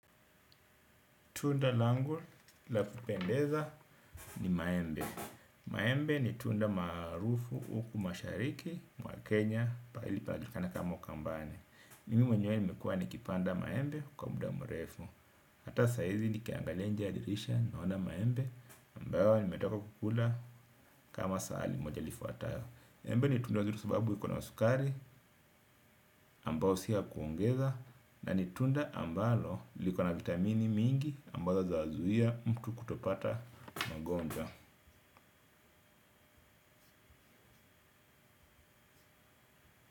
Tunda langu la kupendeza ni maembe. Maembe ni tunda maarufu uku mashariki mwa Kenya paali panajulikana kama ukambani. Mimi mwenyewe nimekua nikipanda maembe kwa muda mrefu. Hata saizi nikiangalia nje ya dirisha naona maembe ambayo nimetoka kukula kama saali moja lifuatayo. Embe ni tunda zuri sababu ikona sukari ambao siya kuongeza. Na ni tunda ambalo liko na vitamini mingi ambazo zazuia mtu kutopata magonjwa.